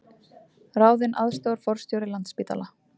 Ráðinn aðstoðarforstjóri Landspítala